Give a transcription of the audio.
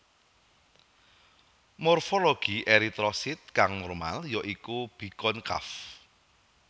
Morfologi eritrosit kang normal ya iku bikonkaf